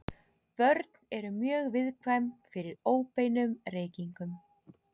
Börn eru mjög viðkvæm fyrir óbeinum reykingum.